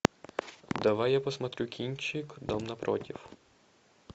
давай я посмотрю кинчик дом напротив